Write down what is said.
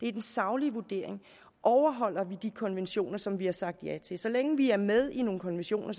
det er den saglige vurdering overholder vi de konventioner som vi har sagt ja til så længe vi er med i nogle konventioner